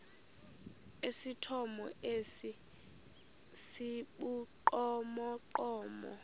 esithomo esi sibugqomogqomo